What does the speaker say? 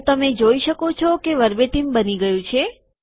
તો તમે જોઈ શકો છો કે વર્બેટીમ બની ગયું છે